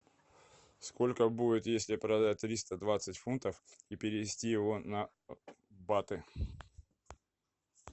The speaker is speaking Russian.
сколько будет если продать триста двадцать фунтов и перевести его на баты